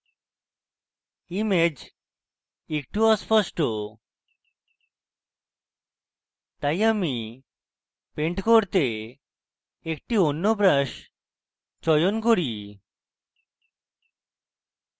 image একটু অস্পষ্ট তাই আমি paint করতে একটি অন্য brush চয়ন করি